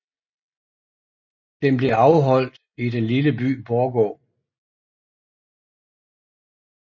Den blev afholdt i den lille by Borgå